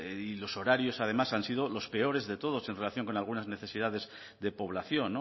y los horarios además han sido los peores de todos en relación con algunas necesidades de población